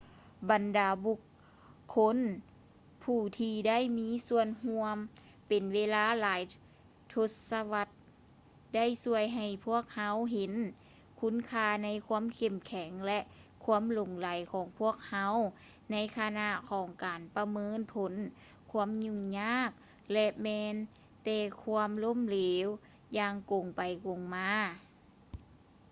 ບັນດາບຸກຄົນຜູ້ທີ່ໄດ້ມີສ່ວນຮ່ວມເປັນເວລາຫຼາຍທົດສະວັດ ໄດ້ຊ່ວຍໃຫ້ພວກເຮົາເຫັນຄຸນຄ່າໃນຄວາມເຂັ້ມແຂງ ແລະ ຄວາມຫຼົງໄຫຼຂອງພວກເຮົາ ໃນຂະນະຂອງການປະເມີນຜົນຄວາມຫຍຸ້ງຍາກ ແລະ ແມ່ນແຕ່ຄວາມລົ້ມເເຫຼວ ຢ່າງກົງໄປກົງມາ